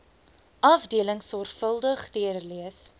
afdelings sorvuldig deurlees